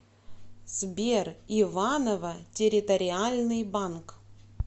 сбер иваново территориальный банк